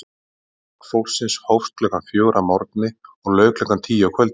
Vinnudagur fólksins hófst klukkan fjögur að morgni og lauk klukkan tíu að kvöldi.